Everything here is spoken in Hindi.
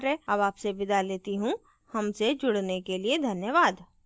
हमसे जुड़ने के लिए धन्यवाद